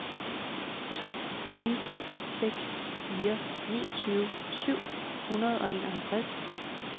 to ni seks fire niogtyve syv hundrede og enoghalvtreds